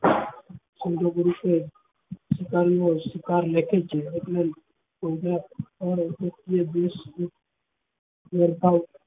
સમજુ પુરુષો સ્વીકારી ને સ્વીકાર લખે છે મતલબ